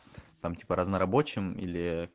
там типа разнорабочим или